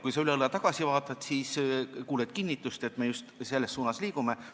Kui sa üle õla tagasi vaatad, siis kuuled kinnitust, et me just selles suunas liigumegi.